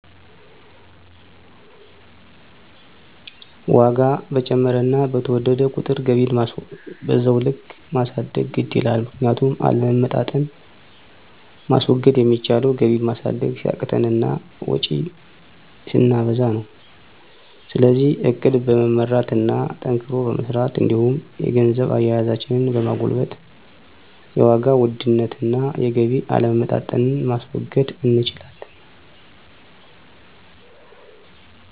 ዋጋ በጨመረና በተወደደ ቁጥር ገቢን በዛው ልክ ማሳደግ ግድ ይላል። ምክንያቱም አለመመጣጠን ማስወገድ ሚቻለው ገቢን ማሳደግ ሲያቅተን እና ወጭን ስናበዛ ነው። ስለዚህ እቅድ በመመራት እና ጠንክሮ በመስራት እንዲሁም የገንዘብ አያያዛችንን በማጎልበት የዋጋ ውድነትን እና የገቢ አለመመጣጠንን ማስወገድ እንችላለን።